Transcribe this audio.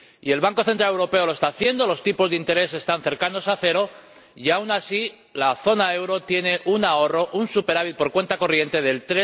El Banco Central Europeo lo está haciendo, los tipos de interés están cercanos al 0 y, aun así, la zona del euro tiene un ahorro —un superávit por cuenta corriente— del